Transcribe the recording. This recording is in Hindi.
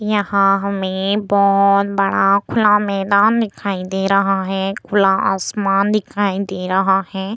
यहाँ हमें बहुत बड़ा खुला मैदान दिखाई दे रहा है खुला आसमान दिखाई दे रहा है ।